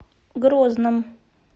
грозном